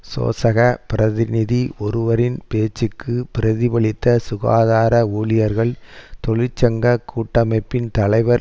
சோசக பிரதிநிதி ஒருவரின் பேச்சுக்கு பிரதிபலித்த சுகாதார ஊழியர்கள் தொழிற்சங்க கூட்டமைப்பின் தலைவர்